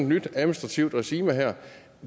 nyt administrativt regime her